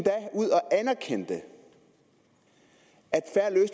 erkendte at